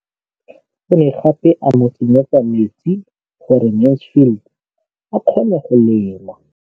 O ne gape a mo tsenyetsa metsi gore Mansfield a kgone go lema.